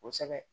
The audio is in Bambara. Kosɛbɛ